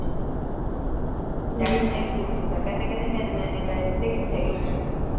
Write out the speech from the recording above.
daddy ਨੂੰ ਇਹ ਵੀ ਦੁੱਖ ਹੁੰਦੇ ਕਹਿੰਦੇ ਕਹਿੰਦੇ ਮੇਰੇ ਨਾਲ ਇੰਨੇ ਪੈਸੇ ਦਿਤੇ ਕਿਥੇ ਗਏ